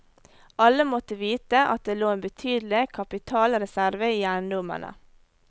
Alle måtte vite at det lå en betydelig kapitalreserve i eiendommene.